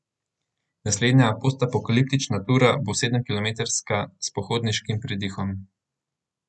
Naslednja postapokaliptična tura bo sedemkilometrska s pohodniškim pridihom.